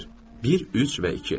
Bir, üç və iki.